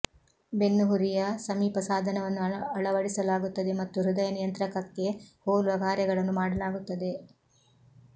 ಬೆನ್ನುಹುರಿಯ ಸಮೀಪ ಸಾಧನವನ್ನು ಅಳವಡಿಸಲಾಗುತ್ತದೆ ಮತ್ತು ಹೃದಯ ನಿಯಂತ್ರಕಕ್ಕೆ ಹೋಲುವ ಕಾರ್ಯಗಳನ್ನು ಮಾಡಲಾಗುತ್ತದೆ